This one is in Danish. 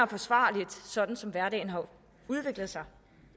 forsvarligt sådan som hverdagen har udviklet sig